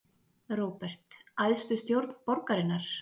Róbert: Æðstu stjórn borgarinnar?